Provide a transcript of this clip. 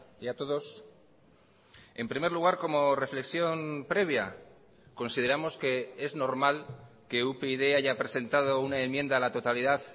y a todos en primer lugar como reflexión previa consideramos que es normal que upyd haya presentado una enmienda a la totalidad